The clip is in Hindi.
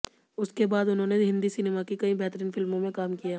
उसके बाद उन्होंने हिंदी सिनेमा की कई बेहतरीन फिल्मो में काम किया